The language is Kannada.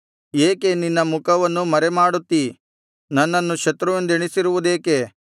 ಏಕೆ ನಿನ್ನ ಮುಖವನ್ನು ಮರೆಮಾಡುತ್ತಿ ನನ್ನನ್ನು ಶತ್ರುವೆಂದೆಣಿಸಿರುವುದೇಕೆ